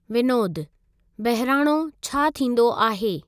विनोदु: 'बहिराणो' छा थींदो आहे?